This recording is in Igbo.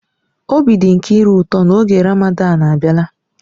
Obi dị Nkiru ụtọ na oge Ramadan abịala.